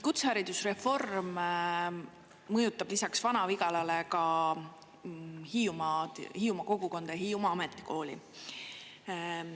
Kutseharidusreform mõjutab lisaks Vana-Vigalale ka Hiiumaad, Hiiumaa kogukonda, Hiiumaa ametikooli.